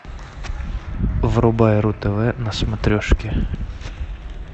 врубай ру тв на смотрешке